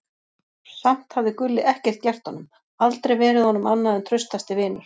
Og samt hafði Gulli ekkert gert honum, aldrei verið honum annað en traustasti vinur.